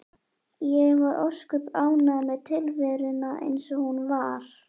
Ég var ósköp ánægð með tilveruna eins og hún var.